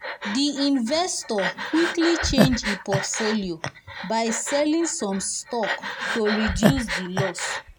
the investor quickly change e portfolio by selling some stocks to reduce the loss.